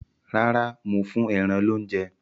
Rárá, mò ń fún ẹran loúnjẹ